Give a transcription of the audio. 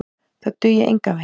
Það dugi engan veginn.